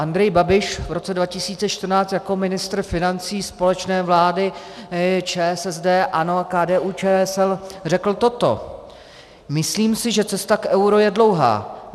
Andrej Babiš v roce 2014 jako ministr financí společné vlády ČSSD, ANO a KDU-ČSL řekl toto: Myslím si, že cesta k euru je dlouhá.